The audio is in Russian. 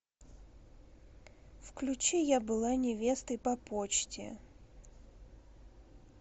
включи я была невестой по почте